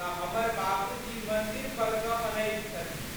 तऽ हमर बाबूजी मंदिर पर सँ अनैत छथिन।